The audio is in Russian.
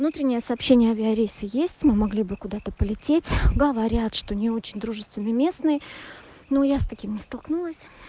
внутренняя сообщения авиарейсы есть мы могли бы куда-то полететь говорят что не очень дружественный местный но я с таким не столкнулась